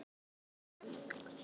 Hvar er Thomas Lang?